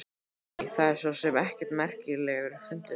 Æ, það er svo sem ekkert merkilegur fundur.